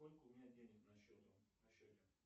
сколько у меня денег на счете